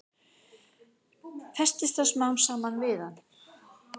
Festist það smám saman við hann.